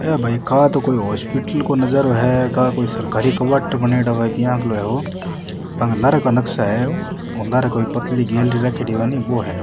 ये भाई का तो कोई हॉस्पिटल को नजारो है का कोई सरकारी क्वार्टर बनाई डो है लारे का नक्शा है वो लारे कोई पतली गेलरी राख्योड़ी कोनी बो है वो।